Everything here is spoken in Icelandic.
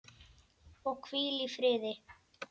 Og hvíl í friði.